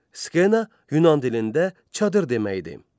Skena Yunan dilində çadır deməkdir.